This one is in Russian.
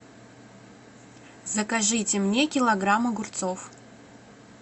закажите мне килограмм огурцов